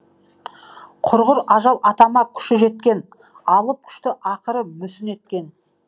құрғыр ажал атама күші жеткен алып күшті ақыры мүсін еткен